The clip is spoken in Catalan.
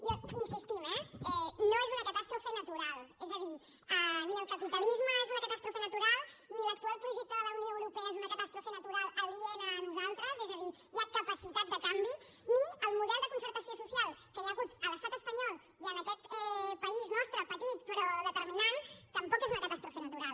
hi insistim eh no és una catàstrofe natural és a dir ni el capitalisme és una catàstrofe natural ni l’actual projecte de la unió europea és una catàstrofe natural aliena a nosaltres és a dir hi ha capacitat de canvi ni el model de concertació social que hi ha hagut a l’estat espanyol i en aquest país nostre petit però determinant tampoc és una catàstrofe natural